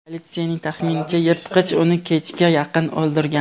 Politsiyaning taxminicha, yirtqich uni kechga yaqin o‘ldirgan.